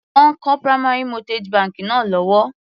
Wọ́n ń kọ́ primary mortgage bank náà lọ́wọ́.